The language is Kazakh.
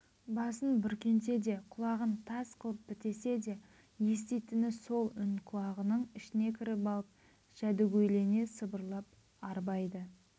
басын бүркенсе де құлағын тас қылып бітесе де еститіні сол үн құлағының ішіне кіріп алып жәдігөйлене сыбырлап арбайды